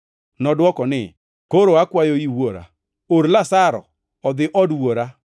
“Nodwoko ni, ‘Koro akwayoi, wuora, or Lazaro odhi od wuora,